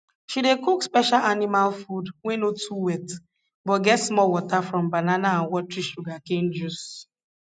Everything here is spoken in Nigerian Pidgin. she dey cook special animal food wey no too wet but get small water from banana and watery sugarcane juice